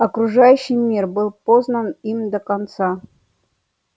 окружающий мир был познан им до конца